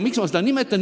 Miks ma seda nimetan?